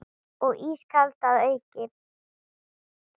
Og ískalt að auki.